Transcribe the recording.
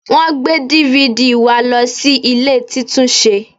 Wọ́n gbé DVD wa lọ sí ilé títúnṣe